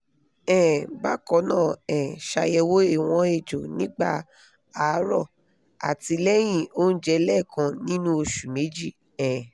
um bakannaa um ṣayẹwo ìwọ̀n èjò nígbà àárọ̀ àti lẹ́yìn onjẹ lẹ́kan nínú oṣù méjì um